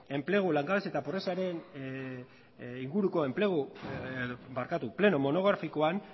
enplegu langabezi eta pobreziaren pleno monografikoan